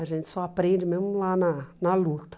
A gente só aprende mesmo lá na na luta.